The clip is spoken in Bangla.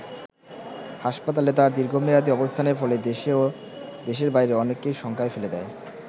হাসপাতালে তার দীর্ঘমেয়াদী অবস্থানের ফলে দেশে ও দেশের বাইরে অনেককেই শঙ্কায় ফেলে দেয়।